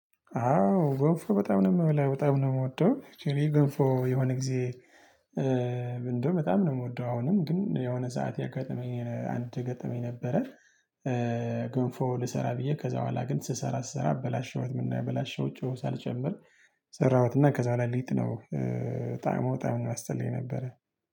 አዎ ገንፎ በጣም ነው የምበላው በጣም ነው የምወደው እኔ ገንፎ የሆነ ጊዜ እንደው በጣም ነው የምወደው አሁንም ግን የሆነ ሰዓት የገጠመኝ አንድ ገጠመኝ ነበረ። ገንፎ ልሰራ ብዬ ከዛ በኋላ ግን ስሰራ ስሰራ አበላሸውት ምንድነው ያበለሸሁት? ጨው ሳልጨምር ሰራሁትና ከዛ በኋላ ሊጥ ነው ጣዕሙ በጣም ነው የሚያስጠላ የነበረ